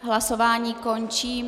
Hlasování končím.